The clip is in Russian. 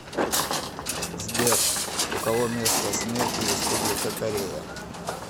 сбер у кого место смерти республика корея